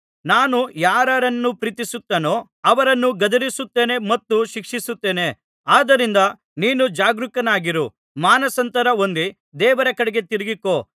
ನಾನು ಯಾರಾರನ್ನು ಪ್ರೀತಿಸುತ್ತೇನೋ ಅವರನ್ನು ಗದರಿಸುತ್ತೇನೆ ಮತ್ತು ಶಿಕ್ಷಿಸುತ್ತೇನೆ ಆದ್ದರಿಂದ ನೀನು ಜಾಗರೂಕನಾಗಿರು ಮಾನಸಾಂತರ ಹೊಂದಿ ದೇವರ ಕಡೆಗೆ ತಿರಿಗಿಕೋ